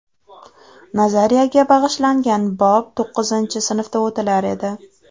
Nazariyaga bag‘ishlangan bob to‘qqizinchi sinfda o‘tilar edi.